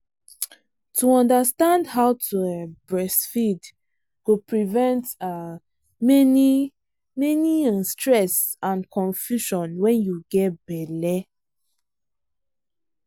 to understand how to um breastfeed go prevent um many many um stress and confusion when you get belle.